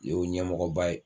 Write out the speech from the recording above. Yew ɲɛmɔgɔba ye